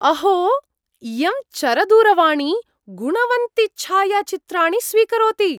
अहो! इयं चरदूरवाणी गुणवन्ति छायाचित्राणि स्वीकरोति।